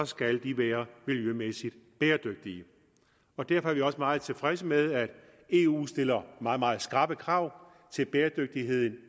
skal de være miljømæssigt bæredygtige og derfor er vi også meget tilfredse med at eu stiller meget meget skrappe krav til bæredygtigheden